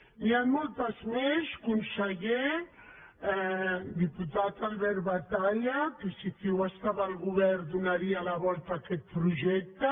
n’hi han moltes més conseller diputat albert batalla que si ciu estava al govern donaria la volta a aquest projecte